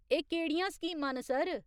एह् केह्ड़ियां स्कीमां न, सर ?